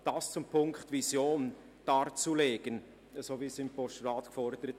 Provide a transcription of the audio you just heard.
Das zum Punkt «Vision darzulegen», wie im Postulat gefordert.